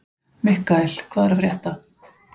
Mikkael, hvað er að frétta?